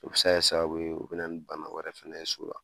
O be se ka kɛ ye sababu ye, o be na ni bana wɛrɛ fana ye so la.